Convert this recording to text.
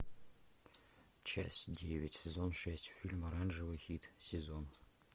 часть девять сезон шесть фильм оранжевый хит сезона